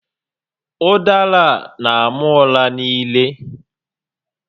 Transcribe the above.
Ụdara a n'ama ụra n'ire